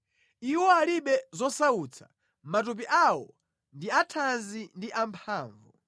Iwo alibe zosautsa; matupi awo ndi athanzi ndi amphamvu.